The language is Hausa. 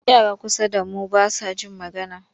Yara kusa da mu ba sa jin magana.